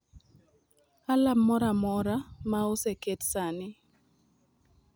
alarm moro amora ma oseket sani